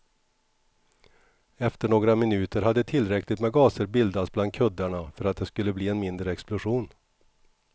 Efter några minuter hade tillräckligt med gaser bildats bland kuddarna för att det skulle bli en mindre explosion.